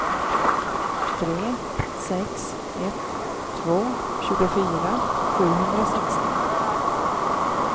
tre sex ett två tjugofyra sjuhundrasextio